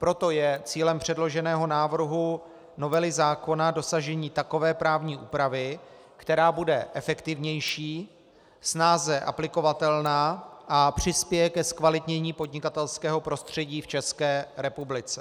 Proto je cílem předloženého návrhu novely zákona dosažení takové právní úpravy, která bude efektivnější, snáze aplikovatelná a přispěje ke zkvalitnění podnikatelského prostředí v České republice.